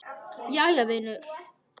Jæja vinur.